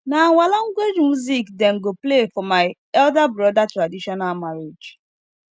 na our language music dem go play for my elder brother traditional marriage